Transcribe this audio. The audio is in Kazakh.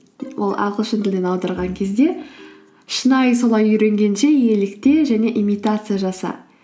ол ағылшын тілінен аударған кезде шынайы солай үйренгенше елікте және имитация жаса